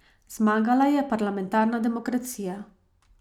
Zmagala je parlamentarna demokracija.